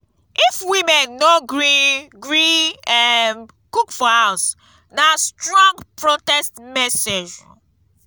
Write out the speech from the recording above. if women no gree gree um cook for house na strong protest message.